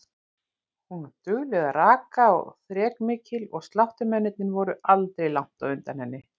Hún var dugleg að raka og þrekmikil og sláttumennirnir voru aldrei langt á undan henni.